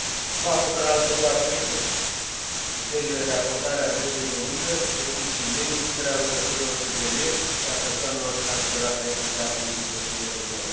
Nu acoperă alte două aspecte criteriile de acordare a dreptului de muncă, precum și neincluderea lucrătorilor sezonieri și a persoanelor transferate în cadrul întreprinderii lor.